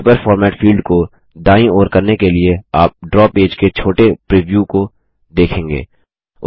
paper format field को दायीं ओर करने के लिए आप ड्रा पेज के एक छोटे प्रिव्यू को देखेंगे